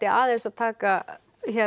aðeins að taka